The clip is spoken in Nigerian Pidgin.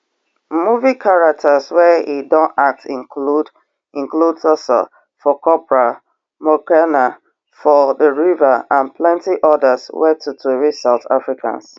movie characters wey e don act include include thuso for cobra mokoena for the river and plenti odas wey totori south africans